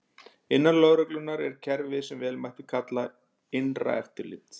Innan lögreglunnar er kerfi sem vel mætti kalla innra eftirlit.